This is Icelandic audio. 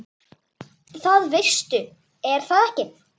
Það veistu er það ekki?